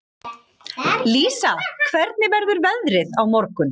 Lísa, hvernig verður veðrið á morgun?